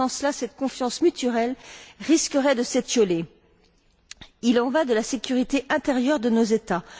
Sans cela, cette confiance mutuelle risquerait de s'étioler. Il en va de la sécurité intérieure de nos États.